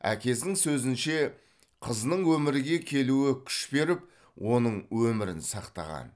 әкесінің сөзінше қызының өмірге келуі күш беріп оның өмірін сақтаған